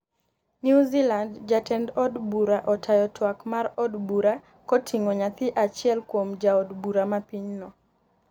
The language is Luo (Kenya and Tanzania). Newzealand Jatend od bura otayo twak mar od bura koting'o nyathi achiel kuom jood bura ma piny no